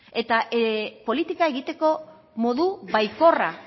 eta politika egiteko modu baikorra